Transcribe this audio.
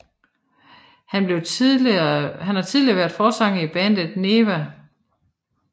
Han har tidligere været forsanger i bandet Neeva